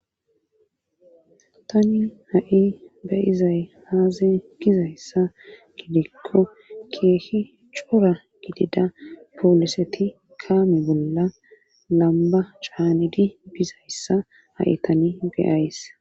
tani ha7i bayizay haaze gizayssa gidikko keehi cora gidida pooliseti kaami bolla lamba caanidi bizayssa ha7i tani geyays